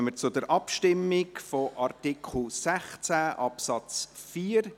Dann kommen wir zur Abstimmung über Artikel 16 Absatz 4.